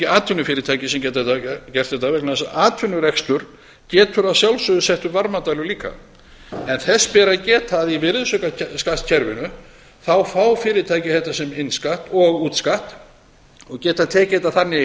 atvinnufyrirtæki sem geta gert þetta vegna þess að atvinnurekstur getur að sjálfsögðu sett upp varmadælur líka en þess ber að geta að í virðisaukaskattskerfinu fá fyrirtæki þetta sem innskatt og útskatt og geta tekið þetta þannig